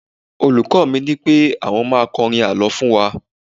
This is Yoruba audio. olùkó mi nipé àwọn ma kọrin àlọ fún wa